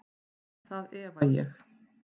Það efa ég.